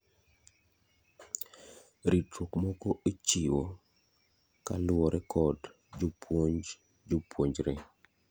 ritruok moko ichiwo kaluore kod jopuonj jopuonjre